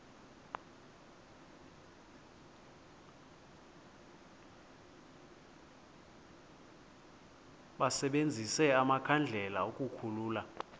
basebenzise amakhandlela ukukhulula